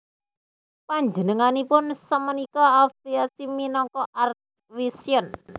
Panjenenganipun sapunika affliasi minangka Arts Vision